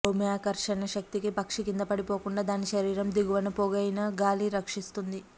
భూమ్యాకర్షణ శక్తికి పక్షి కిందపడిపోకుండా దాని శరీరం దిగువన పోగైన గాలి రక్షిస్తుంది